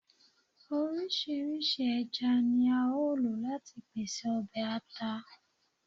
Oriṣiriṣi ẹja ni ao lo lati pese ọbẹ ata